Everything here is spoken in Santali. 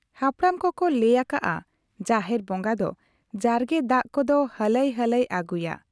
ᱦᱟᱯᱲᱟᱢ ᱠᱚᱠᱚ ᱞᱟᱹᱭ ᱚᱠᱚ ᱟᱠᱟᱜ ᱟ ᱡᱟᱦᱮᱨ ᱵᱚᱸᱜᱟ ᱫᱚ ᱡᱟᱨᱜᱮ ᱫᱟᱜ ᱠᱚᱫᱚ ᱦᱟᱞᱟᱭ ᱦᱟᱞᱟᱭ ᱟᱹᱜᱩᱭᱟ ᱾